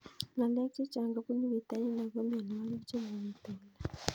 Ng'alek chechang' kopunu pitonin ako mianwogik che mapitu kila